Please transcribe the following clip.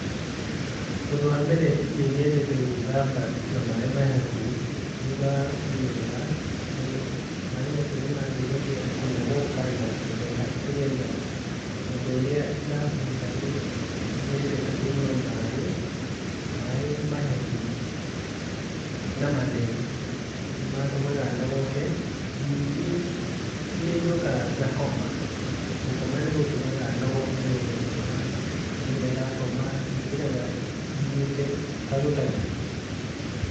Ũndũ wa mbere nĩnyedete gũĩthamba na maĩ mahehu thutha wa mĩnoga tondũ maĩ macio nĩmadeithagia kũnogoka na gũthera nĩgetha, ũndũ ũrĩa dagweta, nĩnyedete kũnyua maĩ mahehu na matheru nĩmatũmaga nogoke. Nyingĩ nĩnjokaga ngakoma . Gũkoma nĩgũtũmaga nogoke wega , kũrĩa ndakoma, njũkĩraga njiguĩte ta gũtarĩ ũndũ njĩkĩte.